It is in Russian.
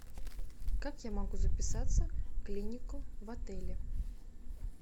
как я могу записаться в клинику в отеле